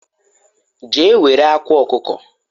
je ewere akwa okuko